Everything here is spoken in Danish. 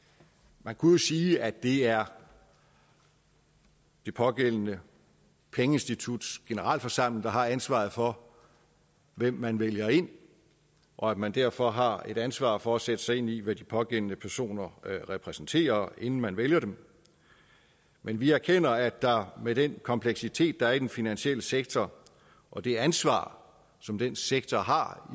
man kunne jo sige at det er det pågældende pengeinstituts generalforsamling der har ansvaret for hvem man vælger ind og at man derfor har et ansvar for at sætte sig ind i hvad de pågældende personer repræsenterer inden man vælger dem men vi erkender at der med den kompleksitet der er i den finansielle sektor og det ansvar som den sektor har